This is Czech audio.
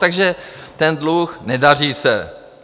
Takže ten dluh - nedaří se.